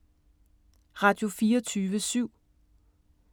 Radio24syv